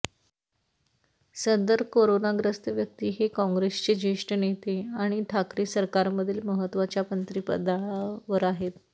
सदर करोनाग्रस्त व्यक्ती हे काँग्रेसचे जेष्ठ नेते आणि ठाकरे सरकारमधील महत्वाच्या मंत्रीपदावर आहेत